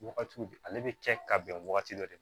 Wagati ale bɛ kɛ ka bɛn wagati dɔ de ma